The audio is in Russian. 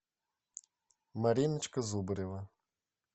мариночка зубарева